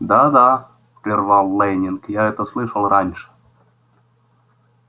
да да прервал лэннинг я это слышал раньше